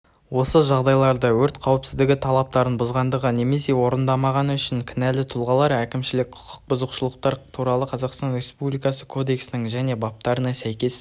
осы жағдайларда өрт қауіпсіздігі талаптарын бұзғандығы немесе орындамағаны үшін кінәлі тұлғалар әкімшілік құқық бұзушылықтар туралы қазақстан республикасы кодексінің және баптарына сәйкес